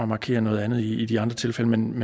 markere noget andet i de andre tilfælde men vi